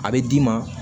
A bɛ d'i ma